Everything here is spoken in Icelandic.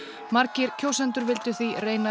margir kjósendur vildu því reyna